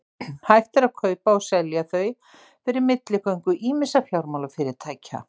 hægt er að kaupa og selja þau fyrir milligöngu ýmissa fjármálafyrirtækja